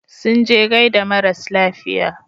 Sun je gaida maras lafiya.